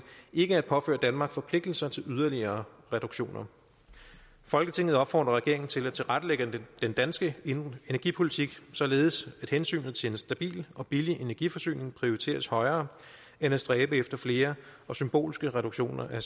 ikke at påføre danmark forpligtelser til yderligere reduktioner folketinget opfordrer regeringen til at tilrettelægge den danske energipolitik således at hensynet til en stabil og billig energiforsyning prioriteres højere end at stræbe efter flere og symbolske reduktioner af